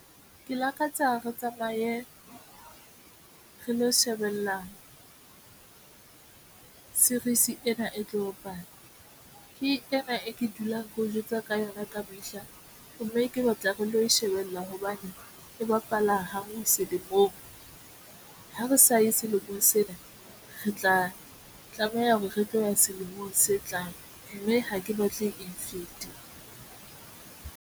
Ke lakatsa re tsamaye re lo shebella series ena e tlo bapala ke ena e ke dulang ke o jwetswa ka yona ka mehla mme ke batla re lo shebella hobane e bapala ho mo selemong. Ha re sa ye selemong sena, re tla tlameha hore re tlo ya selemong se tlang mme ha ke batle e fete.